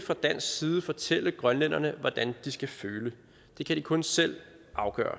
fra dansk side fortælle grønlænderne hvordan de skal føle det kan de kun selv afgøre